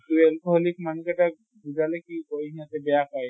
তʼ alcoholic মানুহ কেইটাক বুজালে কি কয় সিহঁতে বেয়া পায়।